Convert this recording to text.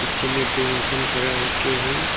नीचे में दो इंसान खड़ा होके है।